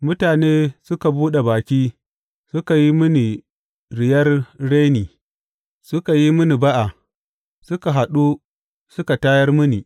Mutane suka buɗe baki suka yi mini riyar reni; suka yi mini ba’a suka haɗu suka tayar mini.